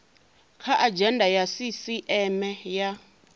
kha adzhenda ya sisieme ya